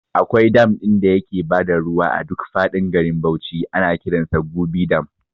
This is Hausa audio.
Akwai dam ɗin da yake bada ruwa a duk faɗin garin Bauchi ana kiransa Gubi dam